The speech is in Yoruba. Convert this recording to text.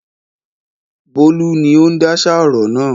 Bólú ni ó ń dáṣà ọ̀rọ̀ náà.